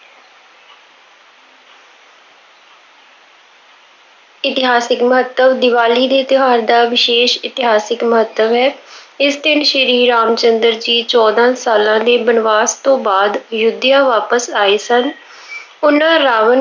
ਇਤਿਹਾਸਿਕ ਮਹੱਤਵ- ਦੀਵਾਲੀ ਦੇ ਤਿਉਹਾਰ ਦਾ ਵਿਸ਼ੇਸ਼ ਇਤਿਹਾਸਿਕ ਮਹੱਤਵ ਹੈ। ਇਸ ਦਿਨ ਸ਼੍ਰੀ ਰਾਮ ਚੰਦਰ ਜੀ ਚੋਦਾਂ ਸਾਲਾਂ ਦੇ ਬਨਵਾਸ ਤੋਂ ਬਾਅਦ ਅਯੁੱਧਿਆ ਵਾਪਸ ਆਏ ਸਨ। ਉਹਨਾ ਰਾਵਣ